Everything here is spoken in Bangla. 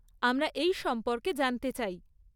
আমরা এই সম্পর্কে জানতে চাই।